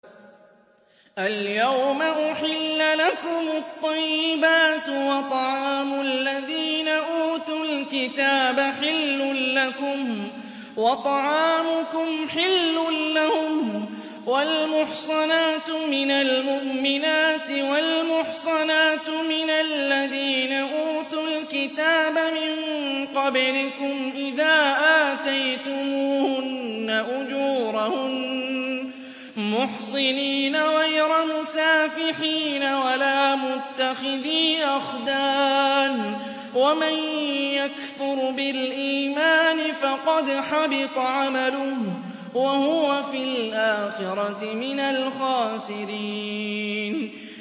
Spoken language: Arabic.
الْيَوْمَ أُحِلَّ لَكُمُ الطَّيِّبَاتُ ۖ وَطَعَامُ الَّذِينَ أُوتُوا الْكِتَابَ حِلٌّ لَّكُمْ وَطَعَامُكُمْ حِلٌّ لَّهُمْ ۖ وَالْمُحْصَنَاتُ مِنَ الْمُؤْمِنَاتِ وَالْمُحْصَنَاتُ مِنَ الَّذِينَ أُوتُوا الْكِتَابَ مِن قَبْلِكُمْ إِذَا آتَيْتُمُوهُنَّ أُجُورَهُنَّ مُحْصِنِينَ غَيْرَ مُسَافِحِينَ وَلَا مُتَّخِذِي أَخْدَانٍ ۗ وَمَن يَكْفُرْ بِالْإِيمَانِ فَقَدْ حَبِطَ عَمَلُهُ وَهُوَ فِي الْآخِرَةِ مِنَ الْخَاسِرِينَ